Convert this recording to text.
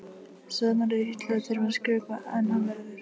Svenna líður illa að þurfa að skrökva en hann verður!